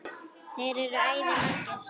Þeir eru æði margir.